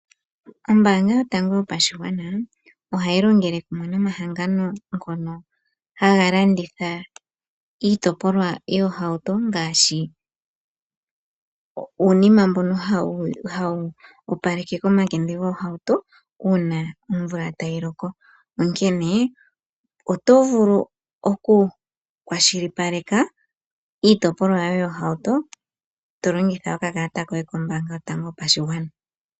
Ombaanga yotango yopashigwana ohayi longele kumwe nomahangano ngono haga landitha iitopolwa yoohauto, ngashi uunima mbono hawu opaleke komakende goohaut ouna omvula tayi loko. Onkene oto vulu oku kwashilipaleka iitopolwa yoye yohauto to longitha okakalata koye kombaanga yotango yopashigwana.